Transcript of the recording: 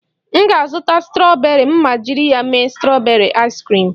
M ga-azụta strọberị ma jiri ya mee strọberị aịs kriim